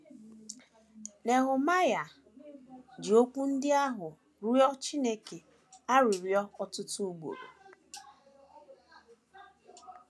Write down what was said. Nehemaịa ji okwu ndị ahụ rịọ Chineke arịrịọ ọtụtụ ugboro.